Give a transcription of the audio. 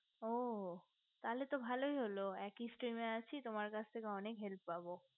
ও তাহলে তো ভালোই হলো একই stream এ আসি তাহলে তো তোমার কাছ থেকে অনেক help পাবো